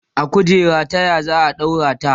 a kujerar taya zaa ɗaura ta